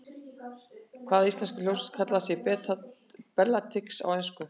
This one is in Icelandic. Hvaða íslenska hljómsveit kallaði sig Bellatrix á ensku?